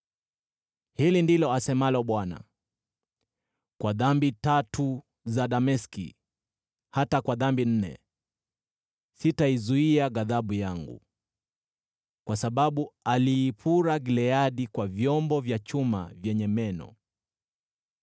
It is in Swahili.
Hili ndilo asemalo Bwana : “Kwa dhambi tatu za Dameski, hata kwa dhambi nne, sitaizuia ghadhabu yangu. Kwa sababu aliipura Gileadi kwa vyombo vya chuma vyenye meno.